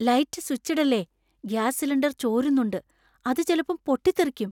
Light സ്വിച്ചിടല്ലേ. Gas cylinder ചോരുന്നുണ്ട്, അത് ചെലപ്പം പൊട്ടിത്തെറിക്കും.